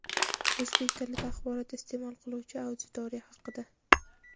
o‘zbek tilida axborot isteʼmol qiluvchi auditoriya haqida.